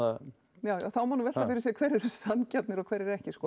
já þá má nú velta fyrir sér hverjir eru sanngjarnir og hverjir ekki sko